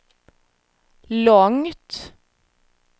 långt